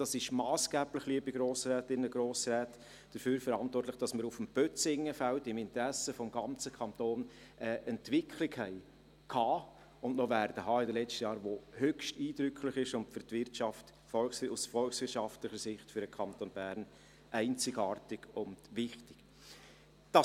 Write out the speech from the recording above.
Das ist massgeblich dafür verantwortlich, dass wir auf dem Bözingenfeld im Interesse des ganzen Kantons in den letzten Jahren eine Entwicklung hatten und noch haben werden, die höchst eindrücklich und aus volkswirtschaftlicher Sicht für den Kanton Bern einzigartig und wichtig ist.